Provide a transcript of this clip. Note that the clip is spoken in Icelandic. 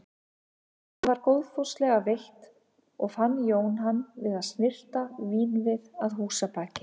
Það var góðfúslega veitt og fann Jón hann við að snyrta vínvið að húsabaki.